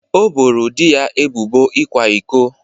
O boro di ya ebubo ịkwa iko